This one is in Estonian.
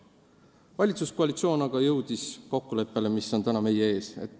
Valitsuskoalitsioon aga jõudis kokkuleppele, mis on täna meie ees.